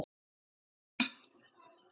Þórunn Anna.